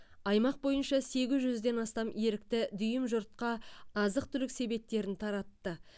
аймақ бойынша сегіз жүзден астам ерікті дүйім жұртқа азық түлік себеттерін таратты